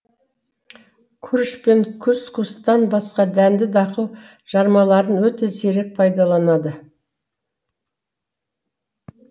күріш пен кус кустан басқа дәнді дақыл жармаларын өте сирек пайдаланады